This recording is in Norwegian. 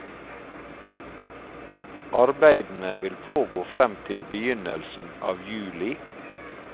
Arbeidene vil pågå frem til begynnelsen av juli.